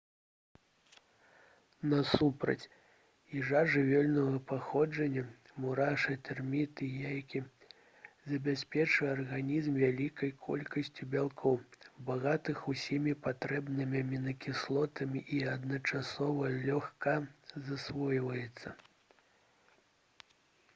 насупраць ежа жывёльнага паходжання мурашы тэрміты яйкі забяспечвае арганізм вялікай колькасцю бялкоў багатых усімі патрэбнымі амінакіслотамі і адначасова лёгка засвойваецца